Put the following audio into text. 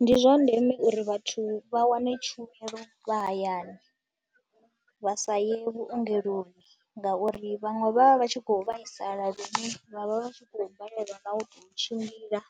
Ndi zwa ndeme uri vhathu vha wane tshumelo vha hayani, vha sa ye vhuongeloni ngauri vhaṅwe vha vha vha tshi khou vhaisala lune vha vha vha tshi khou balelwa nga u tou tshimbila